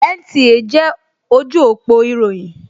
NTA jẹ́ ojú òpó ìròyìn